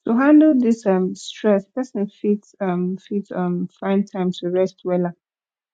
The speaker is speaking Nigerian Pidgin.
to handle dis um stress pesin fit um fit um find time to rest wella